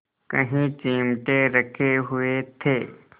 कई चिमटे रखे हुए थे